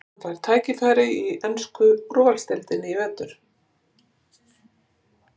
Fær hann tækifæri í ensku úrvalsdeildinni í vetur?